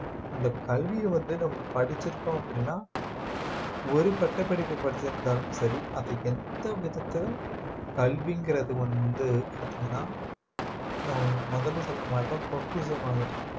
அந்த கல்வியை வந்து நம்ம படிச்சிருக்கோம் அப்படின்னா ஒரு பட்டப்படிப்பு படிச்சிருந்தாலும் சரி அதை எந்த விதத்துல கல்விங்கிறது வந்து பாத்தீங்கன்னா நான் முதல்ல சொன்ன மாதிரிதான் பொக்கிஷம் மாதிரி